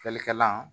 Fiyɛlikɛlan